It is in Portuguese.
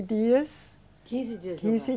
Dias. Quinze dias no. Quinze